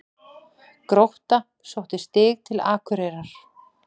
Grótta sótti stig til Akureyrar